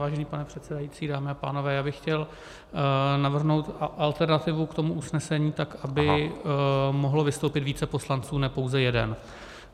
Vážený pane předsedající, dámy a pánové, já bych chtěl navrhnout alternativu k tomu usnesení tak, aby mohlo vystoupit více poslanců, ne pouze jeden.